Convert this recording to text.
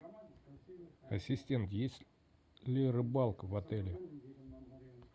ассистент есть ли рыбалка в отеле